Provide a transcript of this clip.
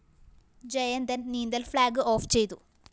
ജയന്തന്‍ നീന്തല്‍ flag off ചെയ്തു